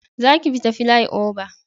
Za ki bi ta filai oba!